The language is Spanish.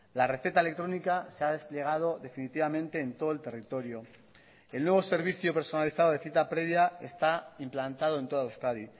la receta electrónica se ha desplegado definitivamente en todo el territorio el nuevo servicio personalizado de cita previa está implantado en toda euskadi